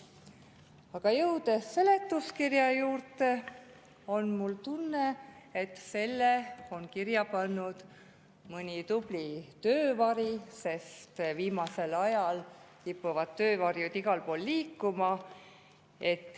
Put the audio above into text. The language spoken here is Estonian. Aga jõudes seletuskirja juurde, on mul tunne, et selle on kirja pannud mõni tubli töövari, sest viimasel ajal kipuvad töövarjud igal pool liikuma.